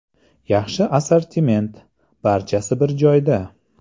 Yaxshi assortiment, barchasi bir joyda.